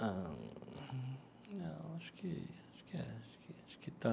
Não, não acho que... acho que é acho que acho que está...